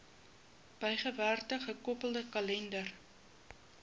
bygewerkte gekoppelde kalender